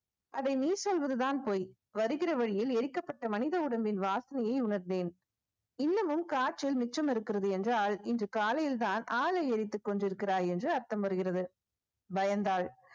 அதை நீ சொல்வதுதான் பொய் வருகிற வழியில் எரிக்கப்பட்ட மனித உடம்பின் வாசனையை உணர்ந்தேன் இன்னமும் காற்றில் மிச்சம் இருக்கிறது என்றால் இன்று காலையில்தான் ஆளை எரித்துக் கொண்டிருக்கிறாய் என்று அர்த்தம் வருகிறது பயந்தாள்